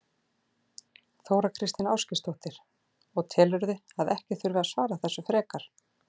Þóra Kristín Ásgeirsdóttir: Og telurðu að ekki þurfi að svara þessu frekar?